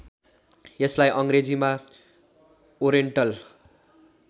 यसलाई अङ्ग्रेजीमा ओरेन्टल